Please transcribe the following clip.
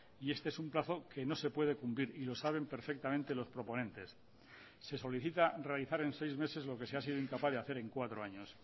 y este es un plazo que no se puede cumplir y lo saben perfectamente los proponentes se solicita realizar en seis meses lo que se ha sido incapaz de hacer en cuatro años